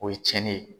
O ye cɛnni ye